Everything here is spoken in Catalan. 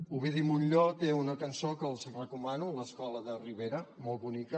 ovidi montllor té una cançó que els recomano l’escola de ribera molt bonica